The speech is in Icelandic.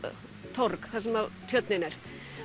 torg þar sem tjörnin er